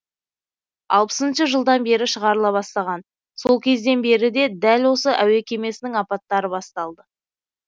алпысыншы жылдан бері шығарыла бастаған сол кезден бері дәл осы әуе кемесінің апаттары басталды